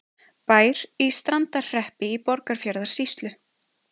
Bær í Strandarhreppi í Borgarfjarðarsýslu.